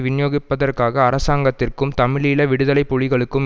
விநியோகிப்பதற்காக அரசாங்கத்திற்கும் தமிழீழ விடுதலை புலிகளுக்கும்